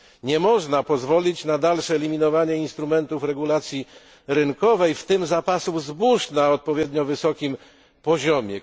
Nie można pozwolić na dalsze eliminowanie instrumentów regulacji rynkowej, w tym zapasów zbóż, na odpowiednio wysokim poziomie.